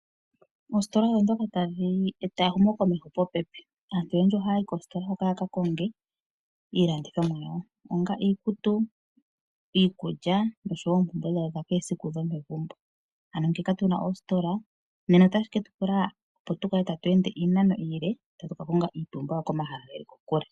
Oositola otadhi eta ehumo komeho popepi. Aantu oyendji ohaya yi moositola hoka ya ka konge iilandithonwa yawo. Ngaashi iikutu, iikulya nosho woo oompumbwe dha kehe esiku dhomegumbo. Ngele kapuna oositola otashi ketu pula opo tukale tatu ende iinano iile tatu ka konga iipumbiwa komahala geli kokule.